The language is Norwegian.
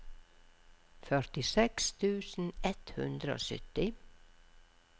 førtiseks tusen ett hundre og sytti